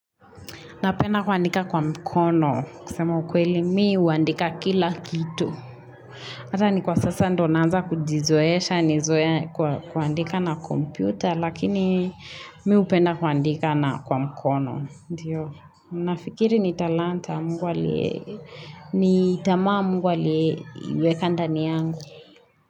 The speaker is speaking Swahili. Napenda kuandika kwa mkono. Kusema ukweli mii uandika kila kitu. Hata ni kwa sasa ndonanza kujizoesha, nizoee kuandika na kompyuta, lakini mii upenda kuandika na kwa mkono. Ndiyo, nafikiri ni talanta mungu aliee, ni tamaa mungu aliee weka ndaniyangu.